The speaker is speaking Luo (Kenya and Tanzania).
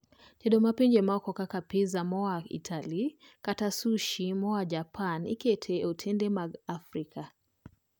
tedo ma pinje maoko kaka pizza moa Itali kata sushi moa Japan iketo e otende wa mag Afrika